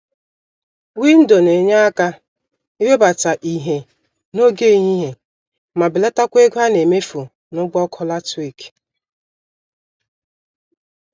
Windo nenye àkà iwebata ìhè n'oge ehihie ma belatakwa ego anemefu n'ụgwọ ọkụ latrik.